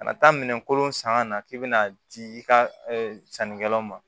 Ka na taa minɛn kolon san ka na k'i bɛna di i ka sannikɛlaw ma